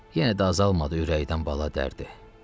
Yenə də azalmadı ürəkdən bala dərdi.